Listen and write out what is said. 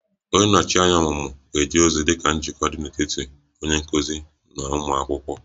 Onye nnọchi anya ọmụmụ ga-eje ozi dị ka njikọ dị n'etiti onye nkuzi na ụmụ akwụkwọ